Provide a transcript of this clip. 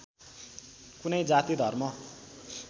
कुनै जाति धर्म